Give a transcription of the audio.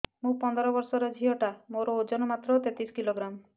ମୁ ପନ୍ଦର ବର୍ଷ ର ଝିଅ ଟା ମୋର ଓଜନ ମାତ୍ର ତେତିଶ କିଲୋଗ୍ରାମ